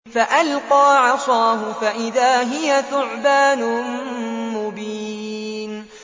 فَأَلْقَىٰ عَصَاهُ فَإِذَا هِيَ ثُعْبَانٌ مُّبِينٌ